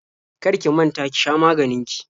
Kar ki manta ki sha maganin ki.